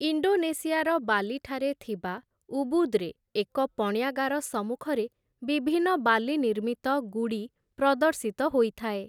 ଇଣ୍ଡୋନେସିଆର ବାଲିଠାରେ ଥିବା ଉବୁଦ୍‌ରେ ଏକ ପଣ୍ୟାଗାର ସମ୍ମୁଖରେ ବିଭିନ୍ନ ବାଲି ନିର୍ମିତ ଗୁଡ଼ି ପ୍ରଦର୍ଶିତ ହୋଇଥାଏ ।